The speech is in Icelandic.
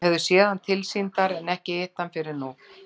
Þau höfðu séð hann tilsýndar en ekki hitt hann fyrr en nú.